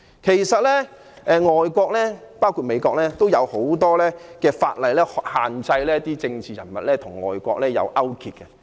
其實外國——包括美國——制定了很多法例來限制政治人物與外國進行勾結。